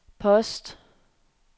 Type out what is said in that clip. post